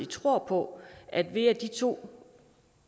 tror på at ved at de to